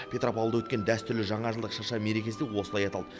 петропавлда өткен дәстүрлі жаңажылдық шырша мерекесі осылай аталды